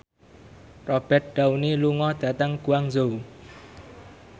Robert Downey lunga dhateng Guangzhou